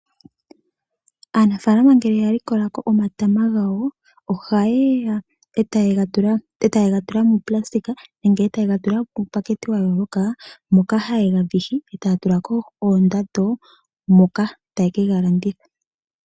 Aanafaalama ngele ya likola ko omatama gawo oha ye ya etaye ga tula muunayilona nenge eta ye gatula uupakete wa yooloka moka haye ga vihi etaya tula ko oondando moka taye ke galanditha.